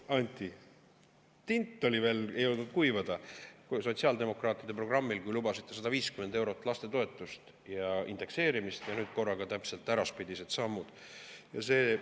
Anti, tint ei olnud jõudnud veel kuivada sotsiaaldemokraatide programmil, milles lubasite 150 eurot lastetoetust ja indekseerimist, ja nüüd korraga täpselt äraspidised sammud!